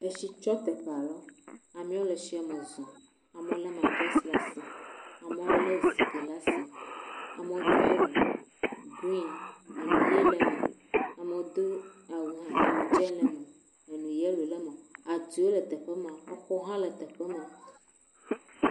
Etsi tsɔ teƒe alewo, amewo le tsie me zɔm, amewo lé matres le asi, amewo lé zikpui le asi, ame do awu grin, enu ye le me, amewo do awu hã, enu dze le me, enu yelo le me, atiwo le teƒe ma, exɔwo hã le teƒe ma.